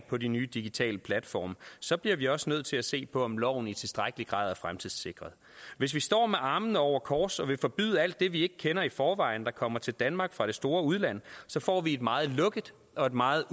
på de nye digitale platforme så bliver vi også nødt til at se på om loven i tilstrækkelig grad er fremtidssikret hvis vi står med armene over kors og vil forbyde alt det vi ikke kender i forvejen og som kommer til danmark fra det store udland så får vi et meget lukket og meget